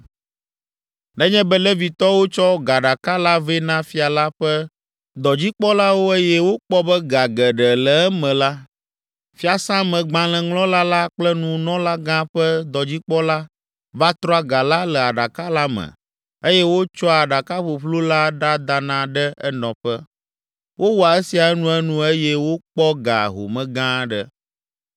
Nenye be Levitɔwo tsɔ gaɖaka la vɛ na fia la ƒe dɔdzikpɔlawo eye wokpɔ be ga geɖe le eme la, fiasãmegbalẽŋlɔla la kple nunɔlagã ƒe dɔdzikpɔla va trɔa ga la le aɖaka la me eye wotsɔa aɖaka ƒuƒlu la ɖadana ɖe enɔƒe. Wowɔa esia enuenu eye wokpɔ ga home gã aɖe.